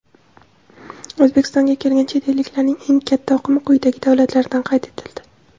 O‘zbekistonga kelgan chet elliklarning eng katta oqimi quyidagi davlatlardan qayd etildi:.